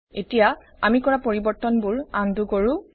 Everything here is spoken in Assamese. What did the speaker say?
এতিয়া আমি কৰা পৰিবৰ্তনবোৰ আন্ডু কৰোঁ